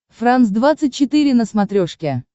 франс двадцать четыре на смотрешке